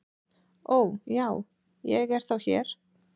"""Ó, já, ég er þá hér"""